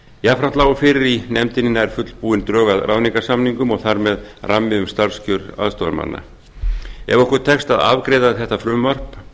jafnframt lágu fyrir í nefndinni nær fullbúin drög að ráðningarsamningum og þar með rammi um starfskjör aðstoðarmannanna ef okkur tekst að afgreiða þetta frumvarp